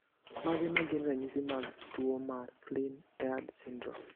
Mage magin ranyisi mag tuo mar Flynn Aird syndrome ?